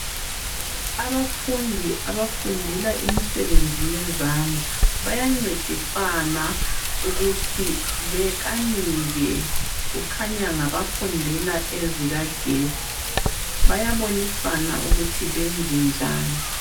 Abafundi abafundele imisebenzi yezandla bayancedisana ukuthi bekanike kukhanya ngabafundela ezikagetsi bayabonisana ukuthi benze njani.